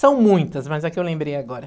São muitas, mas a que eu lembrei agora.